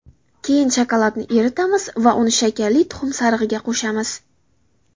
Keyin shokoladni eritamiz va uni shakarli tuxum sarig‘iga qo‘shamiz.